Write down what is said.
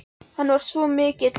Hann var svo mikill montrass.